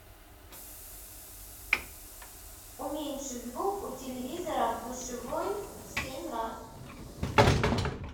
уменьши звук у телевизора в душевой семь раз